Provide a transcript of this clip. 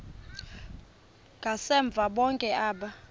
ngasemva bonke aba